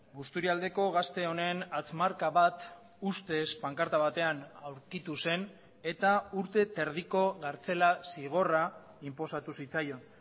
busturialdeko gazte honen hatz marka bat ustez pankarta batean aurkitu zen eta urte terdiko kartzela zigorra inposatu zitzaion